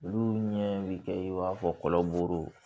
Olu ɲɛ bɛ kɛ i b'a fɔ kɔlɔ buru